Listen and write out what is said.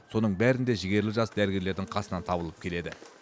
соның бәрінде жігерлі жас дәрігерлердің қасынан табылып келеді